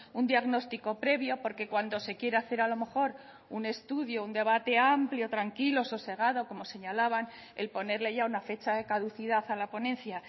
un diagnóstico previo porque cuando se quiere hacer a lo mejor un estudio un debate amplio tranquilo sosegado como señalaban el ponerle ya una fecha de caducidad a la ponencia